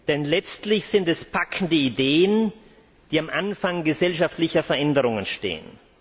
Denn letztlich sind es packende Ideen, die am Anfang gesellschaftlicher Veränderungen stehen.